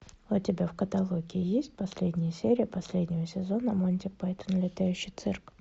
у тебя в каталоге есть последняя серия последнего сезона монти пайтон летающий цирк